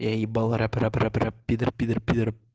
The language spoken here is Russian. я е рэп про пидр пидр пидр